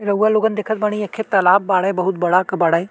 रउवा लोगन देखत बड़ी एकहे तालाब बाड़े बहुत बड़ा के बाड़े।